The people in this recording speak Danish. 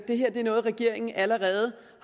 noget regeringen allerede